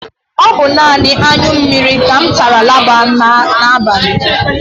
O bu nani aṅyụ mmiri tara laba n'abali